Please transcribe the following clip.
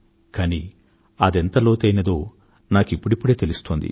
కానీ అదెంత లోతైనదో నాకిప్పుడిప్పుడే తెలుస్తోంది